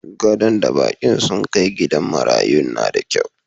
Gadon da bakin sun kai gidan marayun na da kyau.